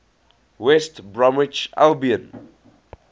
west bromwich albion